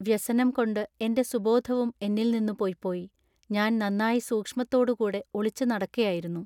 വ്യസനം കൊണ്ടു എന്റെ സുബോധവും എന്നിൽനിന്നു പൊയ്പോയി ഞാൻ നന്നാ സൂക്ഷ്മത്തോടു കൂടെ ഒളിച്ചു നടക്കയായിരുന്നു.